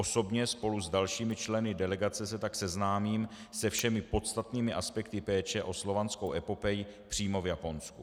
Osobně spolu s dalšími členy delegace se tak seznámím se všemi podstatnými aspekty péče o Slovanskou epopej přímo v Japonsku.